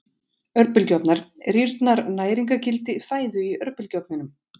Örbylgjuofnar Rýrnar næringargildi fæðu í örbylgjuofnum?